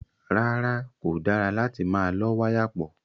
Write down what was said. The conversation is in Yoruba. Rárá, kò dára láti máa lọ́ wáyà pọ̀.